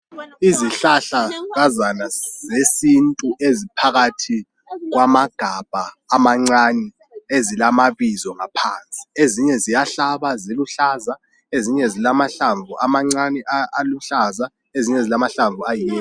Izihlahlakazana zesintu eziphakathi kwamagabha amancane ezilamabizo ngaphansi. Ezinye ziyahlaba ziluhlaza ezinye zilamhlamvu amancane aluhlaza ezinye zilamhlamvu ayiyelo.